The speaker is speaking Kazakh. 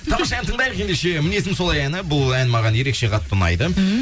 тамаша ән тыңдайық ендеше мінезім солай әні бұл ән маған ерекше қатты ұнайды ммм